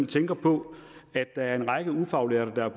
tænker på at der er en række ufaglærte der har